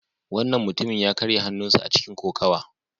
Wannan mutumin ya karya hannunsa a cikin kokawa.